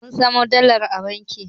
Mun samo dalar a banki